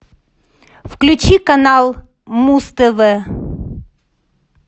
включи канал муз тв